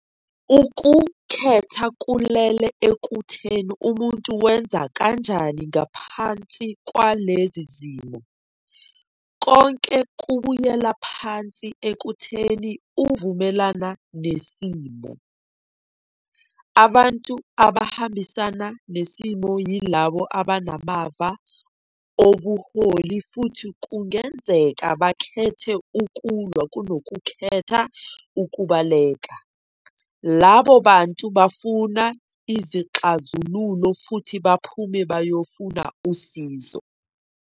Ukukhetha kulele ekutheni umuntu wenza kanjani ngaphansi kwalezi zimo. Konke kubuyela phansi ekutheni uvumelane nesimo. Abantu abahambisana nesimo yilabo abanamava obuholi futhi kungenzeka bakhethe 'ukulwa' kunokukhetha 'ukubaleka'. Labo bantu bafuna izixazululo futhi baphume bayofuna usizo.